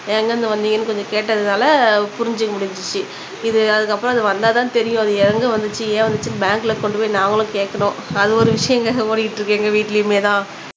எங்க இருந்து வந்திங்கனு கொஞ்சம் கேட்டதுனால புரிஞ்சுக்க முடிஞ்ச்சு இது அதுக்கு அப்புறம் அது வந்தா தான் தெரியும் அது எங்க வந்துச்சு ஏன் வந்துச்சுனு பேங்க்ல கொண்டு போய் நாங்களும் கேக்கணும் அது ஒரு விஷயம்ங்க ஓடிக்கிட்டு இருக்கு எங்க வீட்டுலயுமே தான்